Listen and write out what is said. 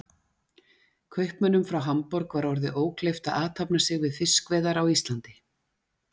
Kaupmönnum frá Hamborg var orðið ókleift að athafna sig við fiskveiðar á Íslandi.